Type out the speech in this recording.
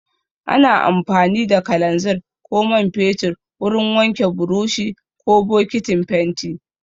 Ana amfani da kalanzir ko man fetur wurin wanke buroshi ko bokitin fenti.